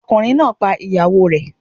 Ọkùnrin náà pa ìyàwó rẹ̀.